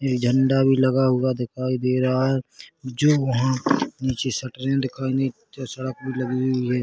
एक झण्डा भी लगा हुआ दिखाई दे रहा हैं जो वहाँ नीचे शटर दिखाई सड़क भी लगी हुई हैं।